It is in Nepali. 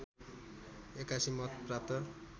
८१ मत प्राप्त